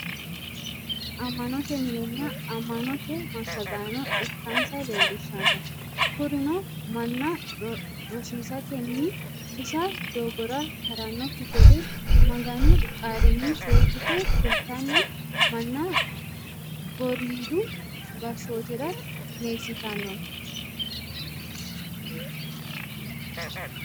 Ama'note minenna ama'note masagaano ikka'nsa leelishanno, kuriunno mana rosisatenni busha doogorra haranokki gede maganu qaalini seekite kulitanni mana goridu gashootira qineesitanno